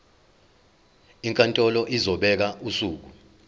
inkantolo izobeka usuku